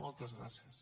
moltes gràcies